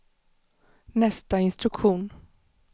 nästa instruktion